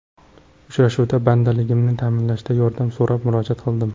Uchrashuvda bandligimni ta’minlashda yordam so‘rab murojaat qildim.